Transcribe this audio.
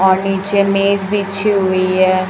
और नीचे मेज बिछी हुई है।